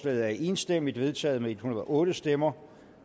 er enstemmigt vedtaget med en hundrede og otte stemmer